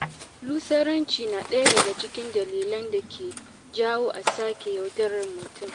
Lusaranci na daga cikin dalilan dake jawo a sake yaudarar mutum.